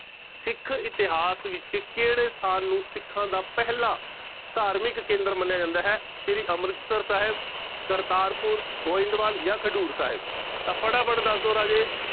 ਸਿੱਖ ਇਤਿਹਾਸ ਵਿੱਚ ਕਿਹੜੇ ਸਥਾਨ ਨੂੰ ਸਿੱਖਾਂ ਦਾ ਪਹਿਲਾਂ ਧਾਰਮਿਕ ਕੇਂਦਰ ਮੰਨਿਆਂ ਜਾਂਦਾ ਹੈ, ਸ੍ਰੀ ਅੰਮ੍ਰਿਤਸਰ ਸਾਹਿਬ, ਕਰਤਾਰਪੁਰ, ਗੋਇੰਦਵਾਲ ਜਾਂ ਖਡੂਰ ਸਾਹਿਬ ਤਾਂ ਫਟਾਫਟ ਦੱਸ ਦਓ ਰਾਜੇ।